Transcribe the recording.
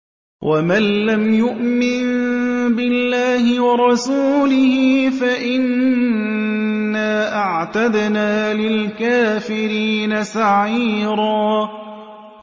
وَمَن لَّمْ يُؤْمِن بِاللَّهِ وَرَسُولِهِ فَإِنَّا أَعْتَدْنَا لِلْكَافِرِينَ سَعِيرًا